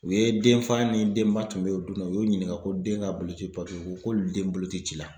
U ye denfa ni denba tun bɛ o dun na, u y'o ɲininka ko den ka bolo ci ko k'olu den bolo ti ci la